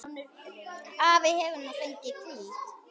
Afi hefur nú fengið hvíld.